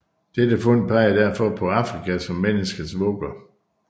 Dette fund pegede derfor på Afrika som menneskets vugge